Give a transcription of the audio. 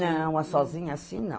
Não, sozinha assim, não.